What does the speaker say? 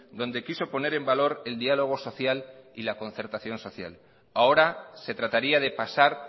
donde quiso poner en valor el diálogo social y la concertación social ahora se trataría de pasar